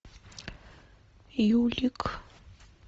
юлик